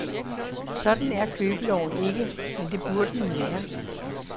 Sådan er købeloven ikke, men det burde den være.